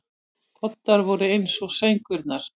Koddar voru eins og sængurnar.